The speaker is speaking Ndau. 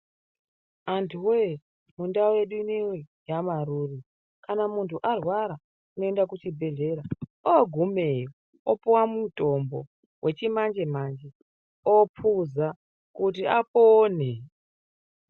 Antu woye mundau yedu ineyi yaMaruri kana muntu arwara unoenda kuchibhedhlera ogumeyo opuwa mutombo wechimanje manje opuza kuti apone.